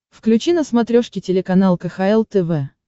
включи на смотрешке телеканал кхл тв